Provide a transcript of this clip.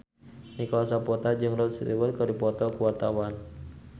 Nicholas Saputra jeung Rod Stewart keur dipoto ku wartawan